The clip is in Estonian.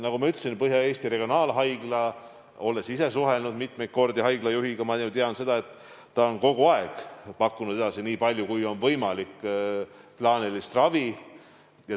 Nagu ma ütlesin, olen ise mitmeid kordi suhelnud Põhja-Eesti Regionaalhaigla juhiga ja tean, et nemad on kogu aeg pakkunud edasi nii palju kui võimalik plaanilist ravi.